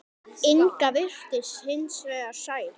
Inga virtist hins vegar sæl.